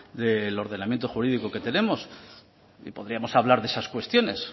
del ordenamiento jurídico que tenemos y podríamos hablar de esas cuestiones